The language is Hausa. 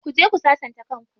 Ku je ku sassanta kan ku.